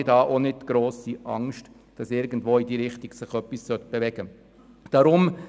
Deshalb habe ich auch keine Angst, dass sich etwas in diese Richtung bewegen könnte.